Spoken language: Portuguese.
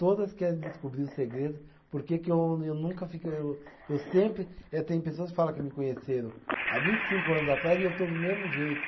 Todas querem descobrir o segredo, porque que eu, eu nunca fico eu. Eu sempre eh. Tem pessoas que fala que me conheceram há vinte e cinco anos atrás e eu estou do mesmo jeito.